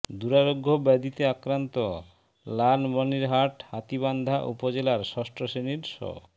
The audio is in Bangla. দূরারোগ্য ব্যধিতে আক্রান্ত লালমনিরহাট হাতীবান্ধা উপজেলার ষষ্ঠ শ্রেণির শ